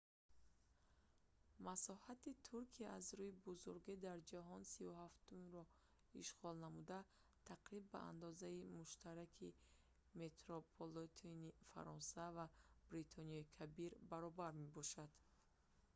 масоҳати туркия аз рӯи бузургӣ дар ҷаҳон 37-умро ишғол намуда тақрибан ба андозаи муштараки метрополитени фаронса ва бритониёи кабир баробар мебошад